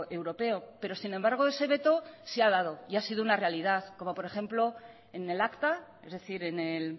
europeo pero sin embargo ese veto se ha dado y ha sido una realidad como por ejemplo en el acta es decir en el